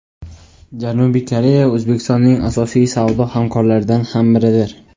Janubiy Koreya O‘zbekistonning asosiy savdo hamkorlaridan ham biridir.